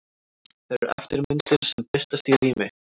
Þær eru eftirmyndir sem birtast í rými.